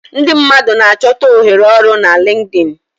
Ndị mmadụ na-achọta ohere ọrụ na Linkdin.